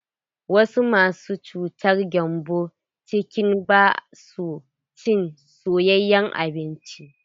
Wasu masu cutar gembon ciki ba sua cin soyayen abinci.